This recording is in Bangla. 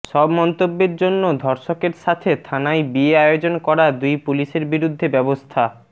সব মন্তব্যের জন্য ধর্ষকের সাথে থানায় বিয়ে আয়োজন করা দুই পুলিশের বিরুদ্ধে ব্যবস্থা